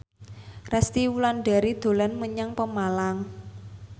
Resty Wulandari dolan menyang Pemalang